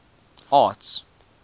arts